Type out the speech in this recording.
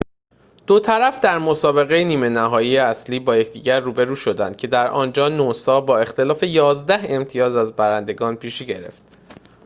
دو طرف در مسابقه نیمه نهایی اصلی با یکدیگر روبرو شدند که در آنجا نوسا با اختلاف ۱۱ امتیاز از برندگان پیشی گرفت